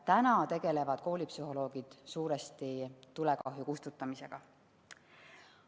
Praegu tegelevad koolipsühholoogid suuresti tulekahju kustutamisega.